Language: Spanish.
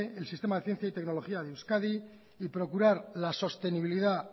el sistema de ciencia y tecnología de euskadi y procurar la sostenibilidad